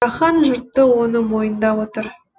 жаһан жұрты оны мойындап отыр